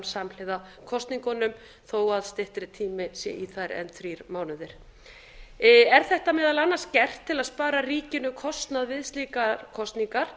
samhliða kosningunum þó að styttri tími sé í þær en þrír mánuðir er þetta meðal annars gert til að spara ríkinu kostnað við kosningar